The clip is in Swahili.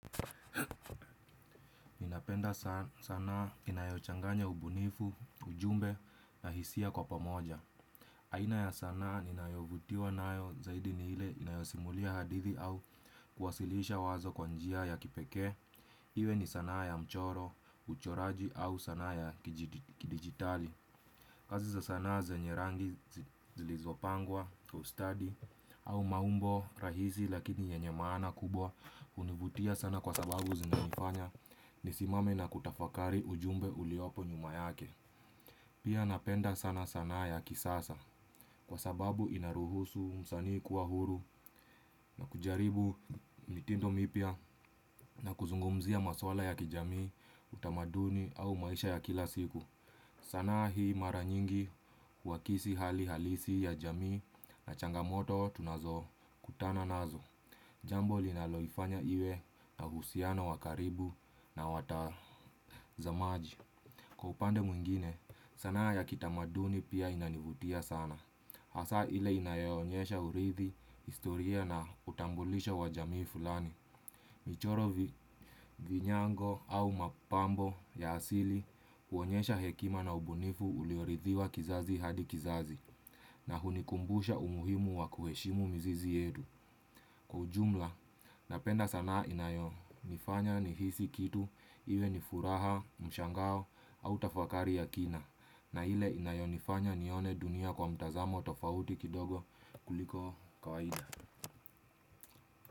Ninapenda sanaa inayochanganya ubunifu, ujumbe na hisia kwa pamoja. Aina ya sanaa ninayovutiwa nayo zaidi ni ile inayosimulia hadithi au kwasilisha wazo kwa njia ya kipekee. Iwe ni sanaa ya mchoro, uchoraji au sanaa ya kidigitali. Kazivza sanaa zenye rangi zilizopangwa, kiustadi au maumbo rahisi lakini yenye maana kubwa. Univutia sana kwa sababu zinanifanya ni simame na kutafakari ujumbe uliopo nyuma yake. Pia napenda sana sanaa ya kisasa kwa sababu inaruhusu msanii kuwa huru na kujaribu mitindo mipya na kuzungumzia maswala ya kijamii utamaduni au maisha ya kila siku. Sanaa hii mara nyingi huwakisi hali halisi ya jamii na changamoto tunazo kutana nazo. Jambo linaloifanya iwe na uhusiano wa karibu na watazamaji kwa upande mwingine sanaa ya kitamaduni pia inanivutia sana. Hasa ile inayonyesha urithi historia na utambulisho wa jamii fulani michoro, vinyango au mapambo ya asili uonyesha hekima na ubunifu uliorithiwa kizazi hadi kizazi na hunikumbusha umuhimu wa kuheshimu mzizi yetu kwa ujumla napenda sanaa inayonifanya nihisi kitu iwe ni furaha mshangao au tafakari ya kina na ile inayo nifanya nione dunia kwa mtazamo tofauti kidogo kuliko kawaida.